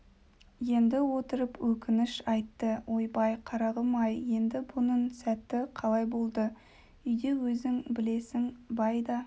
енді отырып өкініш айтты ойбай қарағым-ай енді бұның сәті қалай болды үйде өзің блесің бай да